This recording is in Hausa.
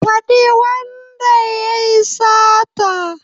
Faɗi wanda yayi sata